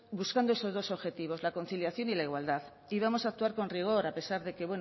buscando esos dos objetivos la conciliación y la igualdad y vamos a actuar con rigor a pesar de que